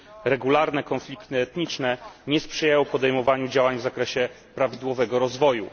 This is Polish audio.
Regularne konflikty etniczne nie sprzyjają podejmowaniu działań w zakresie prawidłowego rozwoju.